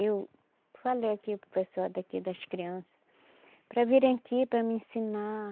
Eu falei aqui para o pessoal daqui, das criança, para virem aqui para mim ensinar.